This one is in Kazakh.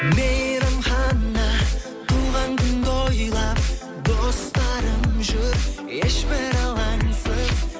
мейрамхана туған күн тойлап достарым жүр ешбір алаңсыз